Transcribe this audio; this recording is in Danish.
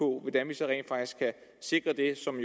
hvordan vi så rent faktisk kan sikre det som